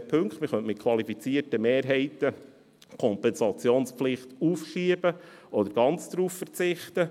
Man könnte die Kompensationspflicht mit qualifizierten Mehrheiten aufschieben oder ganz darauf verzichten.